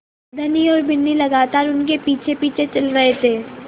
धनी और बिन्नी लगातार उनके पीछेपीछे चल रहे थे